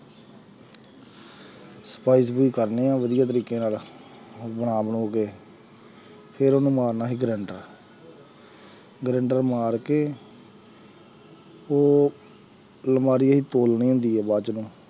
ਸਫ਼ਾਈ ਸਫ਼ੂਈ ਕਰਦੇ ਹਾਂ ਵਧੀਆ ਤਰੀਕੇ ਨਾਲ ਬਣਾ ਬਣੂ ਕੇ ਫਿਰ ਉਹਨੂੰ ਮਾਰਨਾ ਅਸੀਂ ਗਰੈਂਡਰ ਗਰੈਂਡਰ ਮਾਰ ਕੇ ਉਹ ਅਲਮਾਰੀ ਅਸੀਂ ਤੋਲਣੀ ਹੁੰਦੀ ਹੈ ਬਾਅਦ